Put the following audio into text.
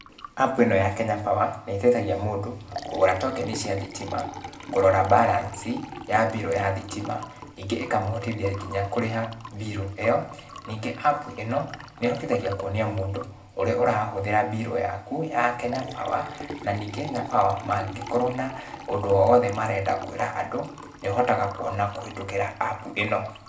App ĩno ya Kenya power nĩ ĩteithagia mũndũ kũgũra tokenĩ cia thitima, kũrora balance ya birũ ya thitima, ningĩ ĩkamũhotithia nginya kũrĩha birũ ĩyo. Ningĩ app ĩno nĩ ĩhotithagia kuonia mũndũ ũrĩa ũrahũthĩra birũ yaku ya Kenya Power, na ningĩ Kenya Power mangĩkorwo na ũndũ o wothe marenda kwĩra andũ nĩ ũhotaga kuona kũhĩtũkĩra app ĩno.